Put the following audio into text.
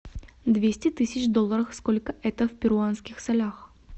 двести тысяч долларов сколько это в перуанских солях